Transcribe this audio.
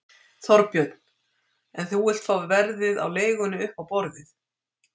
Þorbjörn: En þú vilt fá verðið á leigunni upp á borðið?